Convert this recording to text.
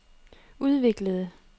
udviklede